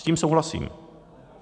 S tím souhlasím.